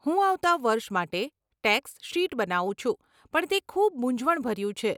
હું આવતાં વર્ષ માટે ટેક્સ શીટ બનાવું છું પણ તે ખૂબ મુંઝવણભર્યું છે.